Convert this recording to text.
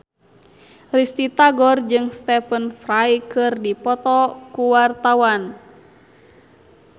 Risty Tagor jeung Stephen Fry keur dipoto ku wartawan